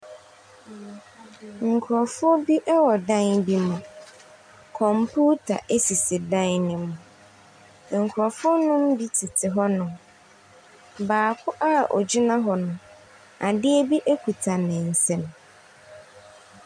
Nkurɔfo bi wɔ dan bi mu, kɔmputa sisi dan ne mu, nkurɔfo no bi tete hɔnom, baako a ogyina hɔ n, adeɛ bi kita ne nsam.